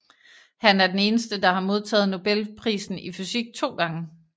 Han er den eneste der har modtaget Nobelprisen i fysik to gange